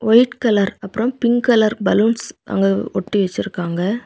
White colour அப்புறம் pink colour balloons அங்க ஒட்டி வச்சிருக்காங்க.